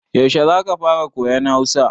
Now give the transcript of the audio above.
Yaushe za ka fara koyan Hausa?